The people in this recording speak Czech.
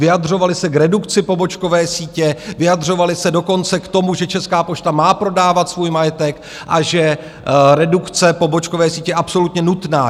Vyjadřovali se k redukci pobočkové sítě, vyjadřovali se dokonce k tomu, že Česká pošta má prodávat svůj majetek a že redukce pobočkové sítě je absolutně nutná.